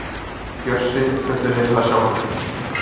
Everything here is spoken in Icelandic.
Bjössi fullyrðir það sjálfur.